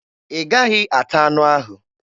Ị gaghị ata anụ ahụ!